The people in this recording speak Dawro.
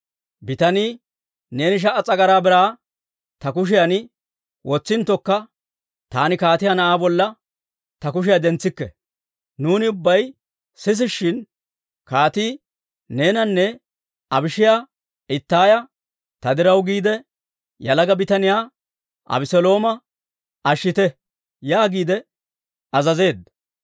Bitanii, «Neeni sha"a s'agaraa biraa ta kushiyan wotsinttokka, taani kaatiyaa na'aa bolla ta kushiyaa dentsikke! Nuuni ubbay sisishshin, kaatii neenanne Abishaaya Ittaaya, ‹Ta diraw giide, yalaga bitaniyaa Abeselooma ashshite› yaagiide azazeedda.